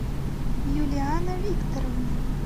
юлиана викторовна